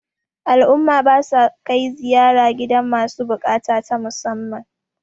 al'umma ba sa kai ziyara gidan masu bukata ta musamman